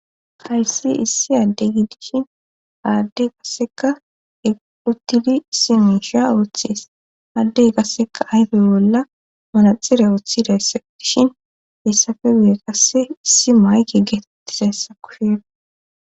Hayssi issi addegi dishin aaddey qasseka equttidisi misha ooththees addey qasseka ayfey bolla manaxira oothi dayssa dishin hessappe guye qasse issi maayki geetettizayssa kusheera.